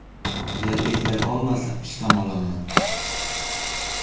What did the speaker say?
Agar eplay olmasa ishdan olaman.